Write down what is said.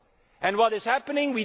Council and what is happening?